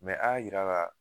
a y'a jira a la